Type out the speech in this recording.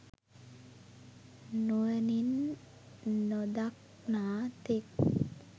නුවණින් නොදක්නා තෙක්